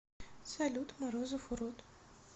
салют морозов урод